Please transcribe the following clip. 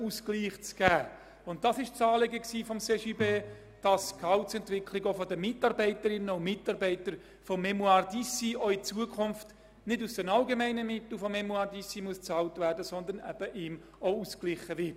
Das Anliegen des CJB war es also, dass die Gehaltsentwicklung der Mitarbeiterinnen und Mitarbeiter der «Fondation Mémoires d’Ici» auch in Zukunft nicht aus deren allgemeinen Mitteln bezahlt werden muss, sondern eben ausgeglichen wird.